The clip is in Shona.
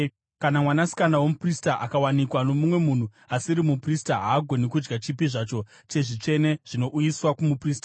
Kana mwanasikana womuprista akawanikwa nomumwe munhu asiri muprista haagoni kudya chipi zvacho chezvitsvene zvinouyiswa kumuprista.